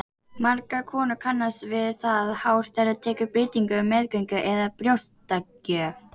Margar konur kannast við það hár þeirra tekur breytingum á meðgöngu eða við brjóstagjöf.